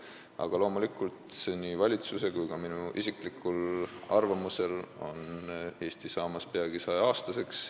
Aga loomulikult, nii valitsuse kui ka minu isikliku arvamuse kohaselt on Eesti saamas peagi 100-aastaseks.